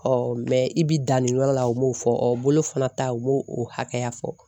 mɛ i bɛ dan nin yɔrɔ la, u m'o fɔ ɔɔ bolo fana ta u m'o o hakɛya fɔ.